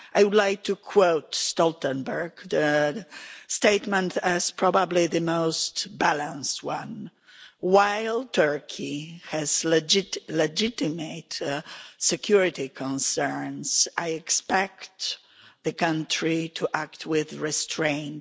I would like to quote Stoltenberg's statement as probably the most balanced one While Turkey has legitimate security concerns, I expect the country to act with restraint'.